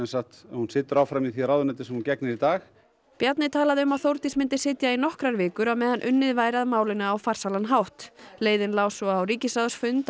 sagt hún situr áfram í því ráðuneyti sem hún gegnir í dag Bjarni talaði um að Þórdís myndi sitja í nokkrar vikur á meðan unnið væri að málinu á farsælan hátt leiðin lá svo á ríkisráðsfund